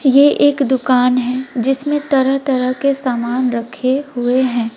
यह एक दुकान है जिसमें तरह तरह के सामान रखे हुए हैं।